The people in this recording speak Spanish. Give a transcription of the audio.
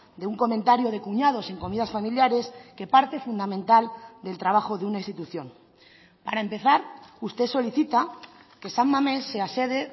de un comentario de cuñados en comidas familiares que parte fundamental del trabajo de una institución para empezar usted solicita que san mamés sea sede